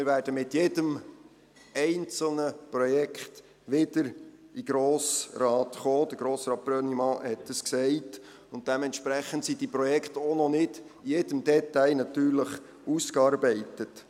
Wir werden mit jedem einzelnen Projekt wieder in den Grossen Rat kommen – Grossrat Brönnimann hat dies gesagt –, und dementsprechend sind diese Projekte natürlich auch noch nicht in jedem Detail ausgearbeitet.